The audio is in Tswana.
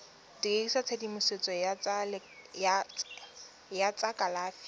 dirisa tshedimosetso ya tsa kalafi